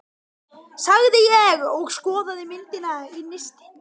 sagði ég og skoðaði myndina í nistinu.